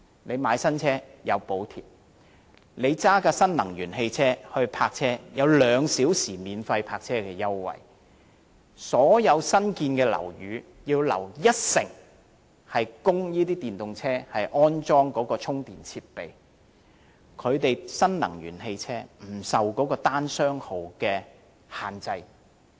購買新車有補貼；駕駛新能源汽車的車主可享有兩小時免費泊車優惠；所有新建樓宇需要預留一成地方供電動車安裝充電設備；新能源汽車不受單、雙號車牌限制。